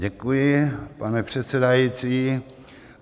Děkuji, pane předsedající.